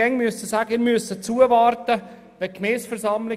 Bei uns ist das die Gemeindeversammlung.